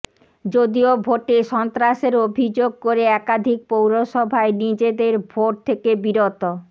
যদিও ভোটে সন্ত্রাসের অভিযোগ করে একাধিক পৌরসভায় নিজদের ভোট থেকে বিরত